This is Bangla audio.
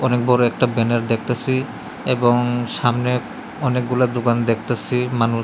অনেক বড়ো একটা ব্যানার দেখতাসি এবং সামনে অনেকগুলা দোকান দেখতাসি মানুষ--